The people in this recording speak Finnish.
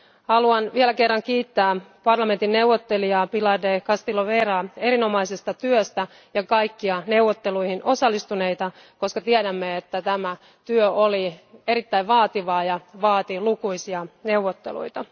Haluan vielä kerran kiittää parlamentin neuvottelijaa Pilar del Castillo Veraa erinomaisesta työstä ja kaikkia neuvotteluihin osallistuneita, koska tiedämme, että tämä työ oli erittäin vaativaa ja vaati lukuisia neuvotteluita.